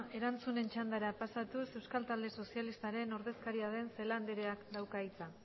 erantzunen txandara pasatuz euskal talde sozialistaren ordezkaria den celaá andereak dauka hitza